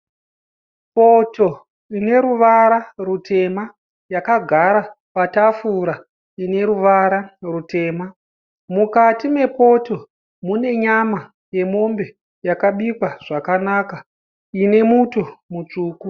Poto ine ruvara rutema, yakagara patafura ine ruvara rutema. Mukati mepoto mune nyama yemombe yakabikwa zvakanaka ine muto mutsvuku.